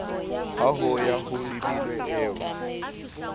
ha ho ya holebilwe eo